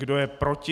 Kdo je proti?